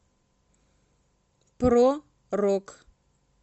про рок